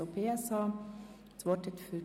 / SP-JUSO-PSA (Marti, Bern)